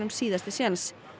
síðasti séns